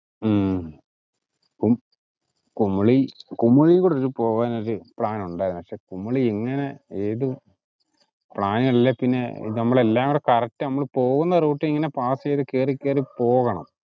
ഉം കും~ കുമളി കുമളികൂടി ഒരു പോകാൻ ഒരു പ്ലാൻ ഉണ്ടായിരുന്നു actually കുമളി എങ്ങിനെ ഏതു, plan അല്ലെ പിന്നെ നമ്മളെല്ലാം കൂടെ correct നമ്മള് പോകുന്ന റൂട്ടറിൽ ഇങ്ങിനെ pass ചെയ്തു കേറി കേറി പോകണം.